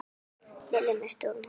Lillý: Með stórum hópi?